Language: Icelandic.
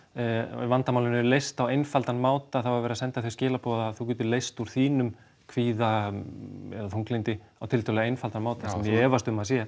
ef vandamálin eru leyst á einfaldan máta þá er verið að senda þau skilaboð að þú getir leyst úr þínum kvíða eða þunglyndi á tiltölulega einfaldan máta sem ég efast um að sé